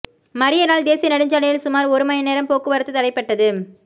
மறியலால் தேசிய நெடுஞ்சாலையில் சுமாா் ஒரு மணி நேரம் போக்குவரத்து தடைபட்டது